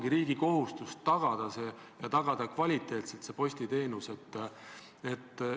Üks minister võiks oma tööst rääkides saada rääkida palju rohkemast kui sellest, mida ta on arutanud, ja et ta on andnud ühe allkirja või kokku kutsunud ühe komisjoni.